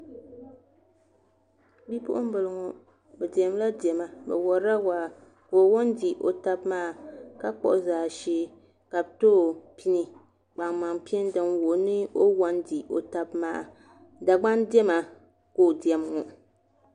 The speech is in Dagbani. Bipuɣunbili ŋo bi diɛmdila diɛma bi worila waa ka o wo n di o tabi maa ka kpuɣu jaashee ka bi too pini kpaŋmaŋ pini din wuhi ni o wo n di o tabi maa dagban diɛma ka o diɛm ŋo